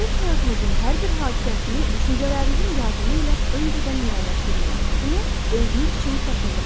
Gələcək həyatınızın hər bir hadisəsini düşüncələrinizin yardımı ilə öncədən müəyyənləşdirmək adətini özünüz üçün təkmilləşdirin.